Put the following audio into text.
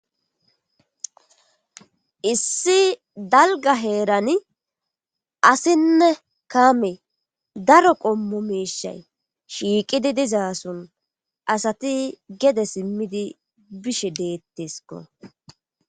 issi dalga heerani asinne kaame daro qommo mishay shiiqidi dizaason asati gede simmidi bishe deettesko